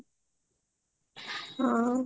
ଆଉ